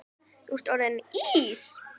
Þú ert orðinn Ís